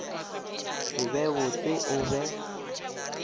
se be botse o be